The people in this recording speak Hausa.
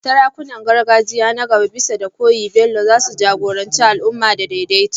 Sarakunan gargajiya na gaba, bisa koyi da Bello, za su jagoranci al’umma da daidaito